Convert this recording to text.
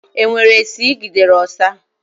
E nwere esi Ị gidere ọsa?